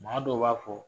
Maa dɔw b'a fɔ